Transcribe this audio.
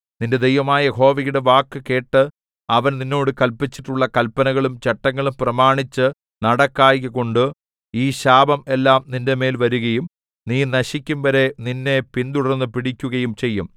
നിന്റെ ദൈവമായ യഹോവയുടെ വാക്കുകേട്ട് അവൻ നിന്നോട് കല്പിച്ചിട്ടുള്ള കല്പനകളും ചട്ടങ്ങളും പ്രമാണിച്ചു നടക്കായ്കകൊണ്ടു ഈ ശാപം എല്ലാം നിന്റെമേൽ വരികയും നീ നശിക്കുംവരെ നിന്നെ പിന്തുടർന്നു പിടിക്കുകയും ചെയ്യും